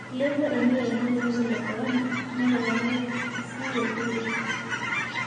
Eilepua emiyain olkirobi le korona netoponari sii olkiye.